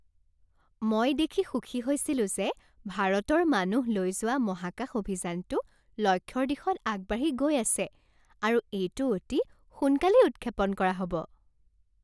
মই দেখি সুখী হৈছিলো যে ভাৰতৰ মানুহ লৈ যোৱা মহাকাশ অভিযানটো লক্ষ্যৰ দিশত আগবাঢ়ি গৈ আছে আৰু এইটো অতি সোনকালেই উৎক্ষেপণ কৰা হ'ব।